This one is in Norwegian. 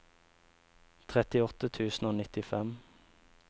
trettiåtte tusen og nittifem